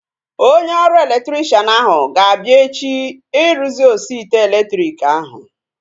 Onye ọrụ elektrikshan ahu ga-abịa echi ịrụzi osi ite elektriki ahu